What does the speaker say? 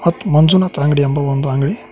ಮತ್ತು ಮಂಜುನಾಥ್ ಅಂಗಡಿ ಎಂಬ ಒಂದು ಅಂಗಡಿ--